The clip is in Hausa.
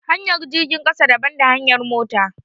Hanyar jirgin ƙasa daban da hanyar mota